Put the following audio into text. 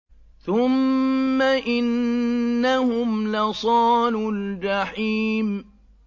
ثُمَّ إِنَّهُمْ لَصَالُو الْجَحِيمِ